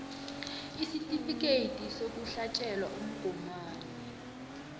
isitifikhethi sokuhlatjelwa umgomani